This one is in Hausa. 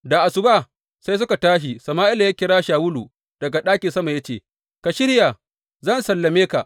Da asuba sai suka tashi, Sama’ila ya kira Shawulu daga ɗakin sama ya ce, Ka shirya, zan sallame ka.